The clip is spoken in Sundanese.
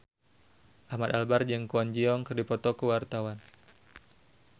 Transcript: Ahmad Albar jeung Kwon Ji Yong keur dipoto ku wartawan